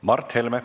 Mart Helme.